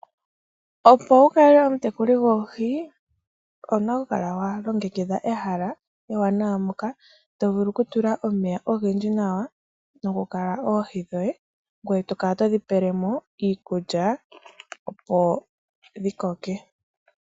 Opo wu kale omutekuli goohi, owuna okukala wa longekidha ehala ewanawa moka to vulu ku tula omeya ogendji nawa nokukala oohi dhoye, ngoye t kala todi pele mo iikulya opo dhi koke.